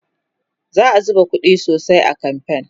za'a zuba ƙuɗi sosai a kamfen